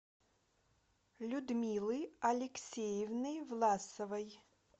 людмилы алексеевны власовой